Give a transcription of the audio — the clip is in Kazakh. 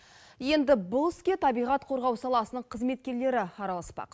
енді бұл іске табиғат қорғау саласының қызметкерлері араласпақ